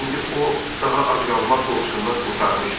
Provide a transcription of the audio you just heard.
İndi o daha ac qalmaq qorxusundan qurtarmışdı.